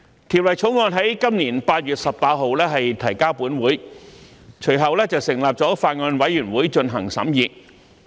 《條例草案》於今年8月18日提交本會，隨後本會成立了法案委員會進行審議。